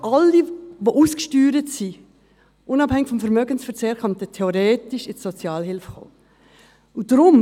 Alle Ausgesteuerten, unabhängig vom Vermögensverzehr, könnten theoretisch in die Sozialhilfe kommen.